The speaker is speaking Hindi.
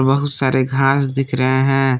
बहुत सारे घास दिख रहे हैं।